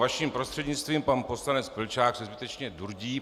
Vaším prostřednictvím - pan poslanec Vlčák se skutečně durdí.